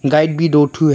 Guide भी दो ठो है।